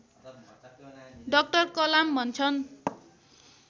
doctor Kalam भन्छन्